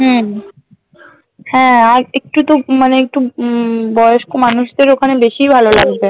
হম হ্যাঁ আর একটু তো উম মানে একটু উম বয়স্ক মানুষদের ওখানে বেশিই ভালো লাগবে